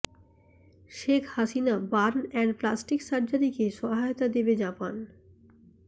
Sheikh Hasina burn and plastic সার্জারিকে সহায়তা দেবে জাপান